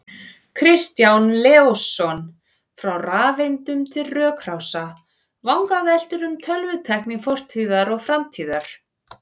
Kristján Leósson, Frá rafeindum til rökrása: Vangaveltur um tölvutækni fortíðar og framtíðar